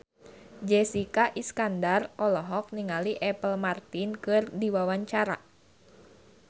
Jessica Iskandar olohok ningali Apple Martin keur diwawancara